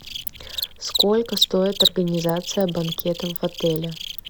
сколько стоит организация банкета в отеле